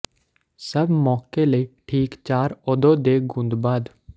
ਸਭ ਮੌਕੇ ਲਈ ਠੀਕ ਚਾਰ ਓਦੋ ਦੇ ਗੁੰਦ ਬਾਅਦ